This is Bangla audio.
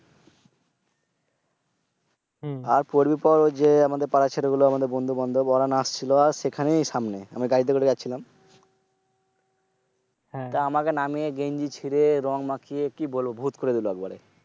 আর পরার পর ঐ যে আমাদের পাড়ার ছেলেগুলো আমাদের বন্ধু বান্ধব ওরা নাচছিল আর সেখানেই সামনে। আমি গাড়িতে করে যাচ্ছিলাম। তো আমাকে নামিয়ে গেঞ্জি চিড়ে রং মাখিয়ে কি বলবো আর ভূত করে দিল একবারে।